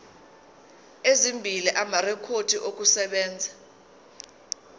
ezimbili amarekhodi okusebenza